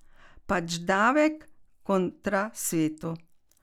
Pač, davek kontra svetu.